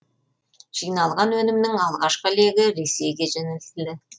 жиналған өнімнің алғашқы легі ресейге жөнелтілді